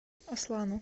аслану